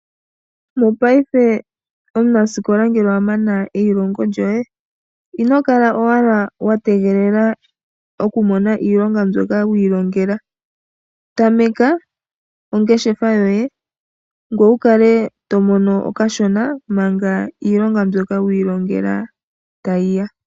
Mopayife omunasikola ngele owa mana eilongo lyoye, ino kala owala watega oku mona iilonga mbyoka wiilongela, tameka ongeshefa yoye ngoye wukale to mono okashona manga iilonga mbyoka wiilongela tayi ya.